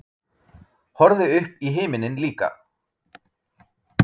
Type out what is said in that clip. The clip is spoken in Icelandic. Horfði upp í himininn líka.